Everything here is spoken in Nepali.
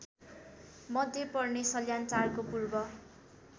मध्ये पर्ने सल्यानटारको पूर्व